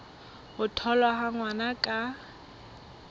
ho tholwa ha ngwana ka